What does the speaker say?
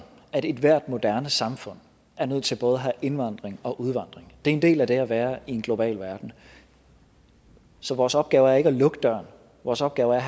at ethvert moderne samfund er nødt til både at have indvandring og udvandring det er en del af det at være i en global verden så vores opgave er ikke at lukke døren vores opgave er